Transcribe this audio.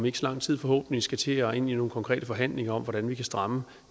ikke så lang tid skal til at gå ind i nogle konkrete forhandlinger om hvordan vi kan stramme